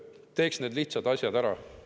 Teeks need lihtsad asjad ära.